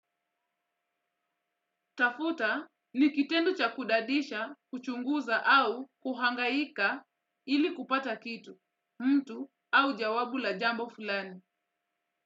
Tafuta ni kitendu cha kudadisha, kuchunguza au kuhangaika ili kupata kitu, mtu au jawabu la jambo fulani.